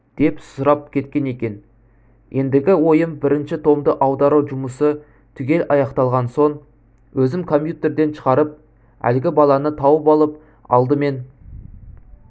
деп сұрап кеткен екен ендігі ойым бірінші томды аудару жұмысы түгел аяқталған соң өзім компьютерден шығарып әлгі баланы тауып алып алдымен